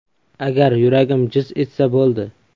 Agar yuragim jiz etsa, bo‘ldi.